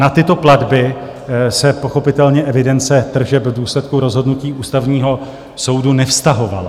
Na tyto platby se pochopitelně evidence tržeb v důsledku rozhodnutí Ústavního soudu nevztahovala.